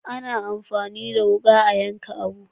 A na amfani da wuka a yanka abu